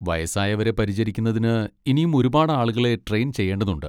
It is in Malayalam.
വയസ്സായവരെ പരിചരിക്കുന്നതിന് ഇനിയും ഒരുപാട് ആളുകളെ ട്രെയിൻ ചെയ്യേണ്ടതുണ്ട്.